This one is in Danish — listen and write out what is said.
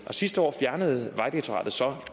sidste år fjernede vejdirektoratet så